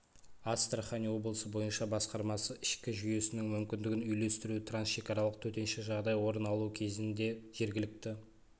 астарахань облысы бойынша басқармасы ішкі жүйесінің мүмкіндігін үйлестіру трансшекаралық төтенше жағдай орын алуы кезінде жергілікті